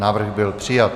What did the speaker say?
Návrh byl přijat.